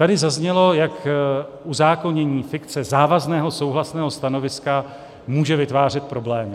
Tady zaznělo, jak uzákonění fikce závazného souhlasného stanoviska může vytvářet problémy.